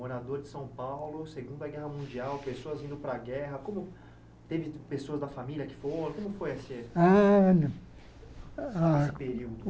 Morador de São Paulo, Segunda Guerra Mundial, pessoas indo para a guerra, como teve pessoas da família que foram, como foi esse Ano Esse período?